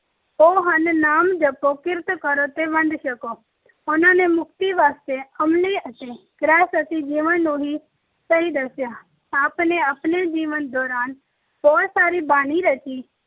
ਉਹ ਹਨ ਨਾਮ ਜਪੋ, ਕਿਰਤ ਕਰੋ ਤੇ ਵੰਡ ਕੇ ਛਕੋ। ਉਨ੍ਹਾਂ ਨੇ ਮੁਕਤੀ ਵਾਸਤੇ ਅਮਲੀ ਅਤੇ ਗ੍ਰਹਿਸਥੀ ਜੀਵਨ ਨੂੰ ਹੀ ਸਹੀ ਦੱਸਿਆ। ਆਪ ਨੇ ਆਪਣੇ ਜੀਵਨ ਦੌਰਾਨ ਬਹੁਤ ਸਾਰੀ ਬਾਣੀ ਰਚੀ,